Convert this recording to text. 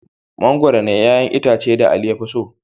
Mangwaro ne 'ƴa'ƴan itacen da Ali ya fi so.